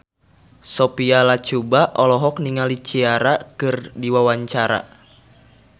Sophia Latjuba olohok ningali Ciara keur diwawancara